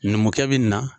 Numukɛ bɛ nin na